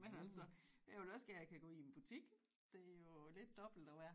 Men altså jeg vil også gerne kan gå i en butik det er jo lidt dobbelt at være